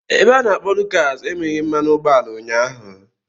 Ebe a na-akpo Lucas enweghị mmanụ ụgbọala ụnyaahụ.